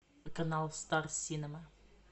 канал стар синема